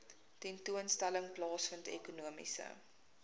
tentoonstelling plaasvind ekonomiese